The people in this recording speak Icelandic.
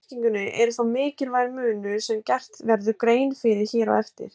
Á merkingunni er þó mikilvægur munur sem gert verður grein fyrir hér á eftir.